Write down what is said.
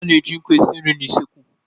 A na-eji nkụ esi nri n'usekwu.